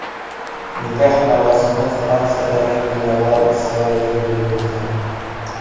Nikoh marosimi Fransiyadagi Miraval saroyida bo‘lib o‘tgan.